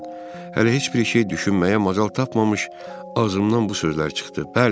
Hələ heç bir şey düşünməyə macal tapmamış ağzımdan bu sözlər çıxdı.